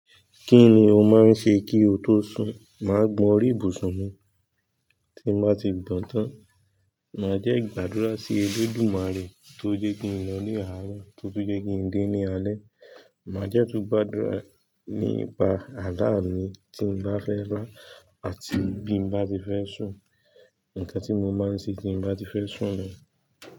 Kí ni o máa ń ṣe kí o tó sùn? Mà á gun orí ibùsùn mi. Tí n bá ti gbàán tán, màá dẹ̀gbàdúrà sí Elédùmarè tó jẹ́ kí n lọ ní àárọ̀ tó túnjẹ́ kí n dé ní alẹ́. Màá jẹ́ tún gbàdúrà nípa alá mi tí n bá fẹ́ lá àti bí n bá ti fẹ́ sùn. Ǹkan tí mo máa ń ṣe tí n bá ti fẹ́ sùn ni.